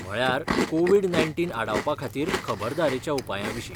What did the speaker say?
म्हळ्यार, Covid nineteen आडावपाखातीर खबरदारेच्या उपायांविशीं.